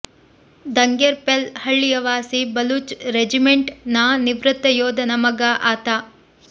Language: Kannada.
ದಂಗೆರ್ ಪೆಲ್ ಹಳ್ಳಿಯ ವಾಸಿ ಬಲೂಚ್ ರೆಜಿಮೆಂಟ್ ನ ನಿವೃತ್ತ ಯೋಧನ ಮಗ ಆತ